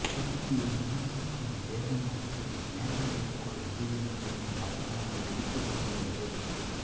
துருக்கியை விமர்சிக்கும் ஜேர்மன் அறிக்கை நேட்டோவிற்குள் அதிகரித்து வரும் பதட்டங்களை எடுத்துக்காட்டுகிறது